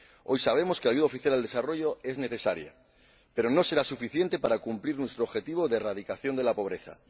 Hoy sabemos que la ayuda oficial al desarrollo es necesaria, pero no será suficiente para cumplir nuestro objetivo de erradicación de la pobreza.